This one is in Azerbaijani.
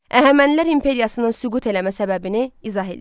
Əhəmənilər imperiyasının süqut eləmə səbəbini izah eləyin.